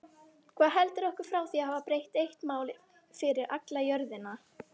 Hvað heldur okkur frá því að hafa bara eitt mál fyrir alla jörðina?